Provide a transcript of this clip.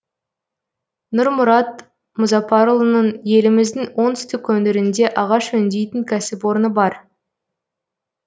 нұрмұрат мұзарапұлының еліміздің оңтүстік өңірінде ағаш өңдейтін кәсіпорны бар